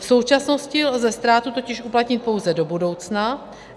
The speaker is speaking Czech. V současnosti lze ztrátu totiž uplatnit pouze do budoucna.